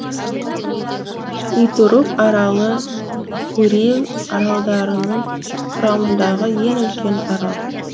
итуруп аралы курил аралдарының құрамындағы ең үлкен арал